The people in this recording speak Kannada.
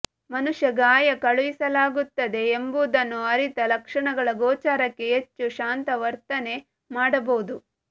ಮನುಷ್ಯ ಗಾಯ ಕಳುಹಿಸಲಾಗುತ್ತದೆ ಎಂಬುದನ್ನು ಅರಿತ ಲಕ್ಷಣಗಳ ಗೋಚರಕ್ಕೆ ಹೆಚ್ಚು ಶಾಂತ ವರ್ತನೆ ಮಾಡಬಹುದು